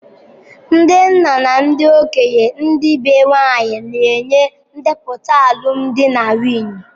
Ndị nna na ndị okenye ndi be nwanyị na-enye ndepụta alụmdi na nwunye.